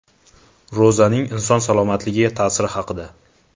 Ro‘zaning inson salomatligiga ta’siri haqida.